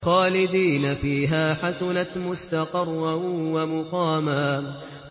خَالِدِينَ فِيهَا ۚ حَسُنَتْ مُسْتَقَرًّا وَمُقَامًا